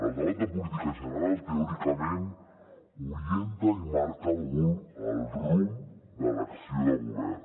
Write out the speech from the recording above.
el debat de política general teòricament orienta i marca el rumb de l’acció de govern